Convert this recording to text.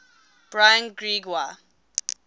brian greig wa